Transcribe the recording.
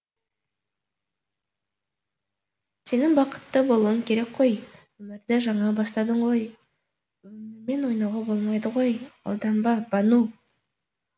сенің бақытты болуың керек қой өмірді жаңа бастадың ғой өмірмен ойнауға болмайды ғой алданба бану